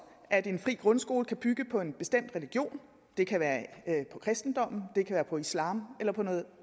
at en fri grundskole kan bygge på en bestemt religion det kan være på kristendom det kan være på islam eller på noget